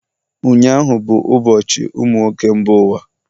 ụnyahụ bụ ụbọchị ụmụ nwoke mba ụwa